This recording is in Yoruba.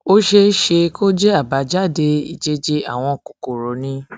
ó ṣeé ṣe kó ṣeé ṣe kó jẹ àbájáde ìjẹjẹ àwọn kòkòrò ni